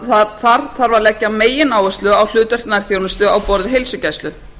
það þarf að leggja megináherslu á hlutverk nærþjónustu á borð við heilsugæslu